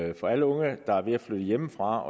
det for alle unge der er ved at flytte hjemmefra